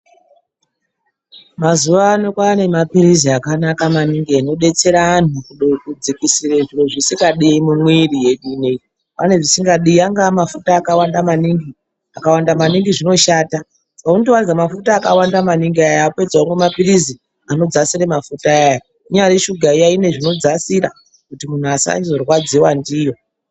Mazuwano kwane mapilizi akanaka maningi anodetsera antu kudzikisire zviro zvisingadiwi mumwiri. Pane zvisingadiwi angaa mafuta akawanda maningi, akawanda maningi zvinoshata. Paunotowanza mafuta akawanda maningi ayani wapedza womwa mapilizi anodzasira mafuta aya. Inyari shuga iya ine zvinodzasira kuti muntu asazorwadziwa ndiyo.